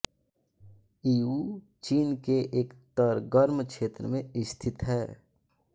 Yiwu चीन के एक तरगर्म क्षेत्र में स्थित है